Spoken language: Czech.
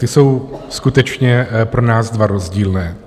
Ty jsou skutečně pro nás dva rozdílné.